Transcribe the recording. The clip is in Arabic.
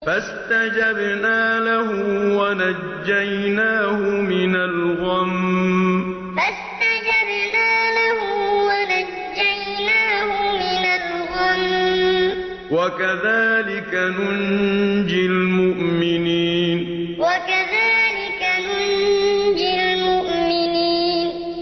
فَاسْتَجَبْنَا لَهُ وَنَجَّيْنَاهُ مِنَ الْغَمِّ ۚ وَكَذَٰلِكَ نُنجِي الْمُؤْمِنِينَ فَاسْتَجَبْنَا لَهُ وَنَجَّيْنَاهُ مِنَ الْغَمِّ ۚ وَكَذَٰلِكَ نُنجِي الْمُؤْمِنِينَ